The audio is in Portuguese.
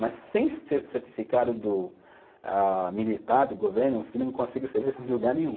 Mas sem ser certificado do ah, militar do governo, você não consegue serviço em lugar nenhum.